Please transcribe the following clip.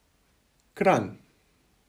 Kranj.